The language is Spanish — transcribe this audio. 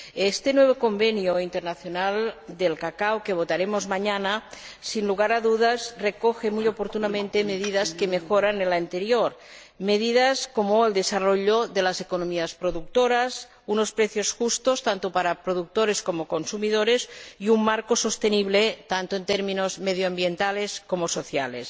Este nuevo Convenio Internacional del Cacao que votaremos mañana recoge, sin lugar a dudas, muy oportunamente medidas que mejoran el anterior, medidas como el desarrollo de las economías productoras, unos precios justos tanto para productores como consumidores y un marco sostenible tanto en términos medioambientales como sociales.